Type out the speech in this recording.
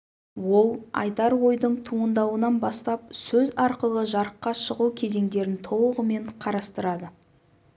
ол айтар ойдың туындауынан бастап сөз арқылы жарыққа шығу кезеңдерін толығымен қарастырады